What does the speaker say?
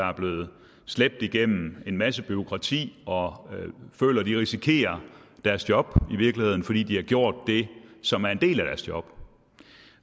er blevet slæbt igennem en masse bureaukrati og føler at de risikerer deres job i virkeligheden fordi de har gjort det som er en del af deres job